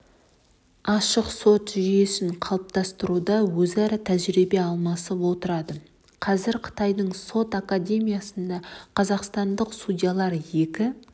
ашық сот жүйесін қалыптастыруда өзара тәжірибе алмасып отырады қазір қытайдың сот академиясында қазақстандық судьялар екі